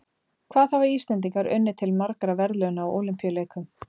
Hvað hafa Íslendingar unnið til margra verðlauna á Ólympíuleikum?